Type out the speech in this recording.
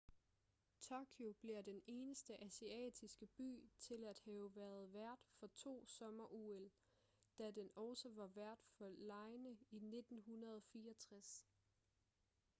tokyo bliver den eneste asiatiske by til at have været vært for to sommer-ol da den også var vært for legene i 1964